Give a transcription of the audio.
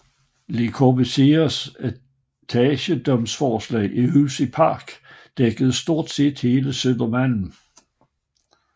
Le Corbusiers etageejendomsforslag Hus i Park dækkede stort set hele Södermalm